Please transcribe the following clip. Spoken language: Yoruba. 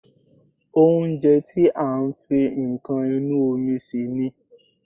Oúnjẹ tí a fi nǹkan inú omi sè ni